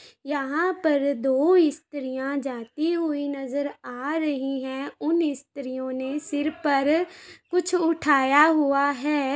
यहां पर दो स्त्रियाँ जाती हुई नजर आ रही हैं उन स्त्रियों नें सिर पर कुछ उठाया हुआ है।